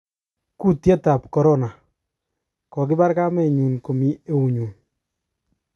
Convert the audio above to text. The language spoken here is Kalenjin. Kutyet tab corona:Kokibar kamenyun komi eunyun.